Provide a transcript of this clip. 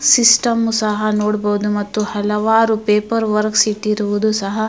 system ಸಹ ನೋಡಬಹುದು ಮತ್ತು ಹಲವಾರು ಪೇಪರ್ ವರ್ಕ್ಸ್ ಇಟ್ಟಿರುವುದು ಸಹ --